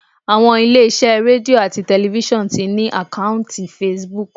Àwọn ilé iṣẹ́ Radio ati tẹlifísàn ti ní àkọ́ùntì Facebook.